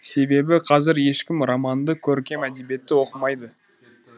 себебі қазір ешкім романды көркем әдебиетті оқымайды